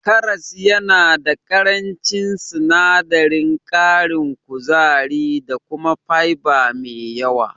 Karas yana da ƙarancin sinadarin ƙarin kuzari da kuma fiber me yawa.